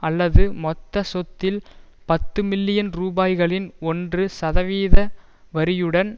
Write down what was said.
அல்லது மொத்த சொத்தில் பத்து மில்லியன் ரூபாய்களின் ஒன்று சதவீத வரியுடன்